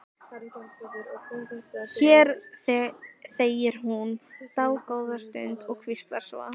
Hér þegir hún dágóða stund og hvíslar svo: